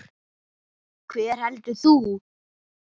Hver heldur þú?